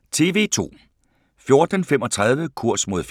TV 2